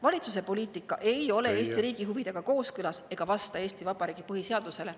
Valitsuse poliitika ei ole Eesti riigi huvidega kooskõlas ega vasta Eesti Vabariigi põhiseadusele.